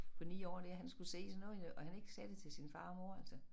På 9 år der han skulle se sådan noget og han ikke sagde det til sin far og mor altså